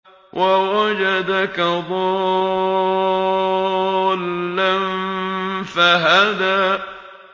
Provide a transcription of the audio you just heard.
وَوَجَدَكَ ضَالًّا فَهَدَىٰ